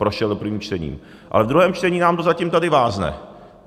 Prošel prvním čtením, ale v druhém čtení nám to zatím tady vázne.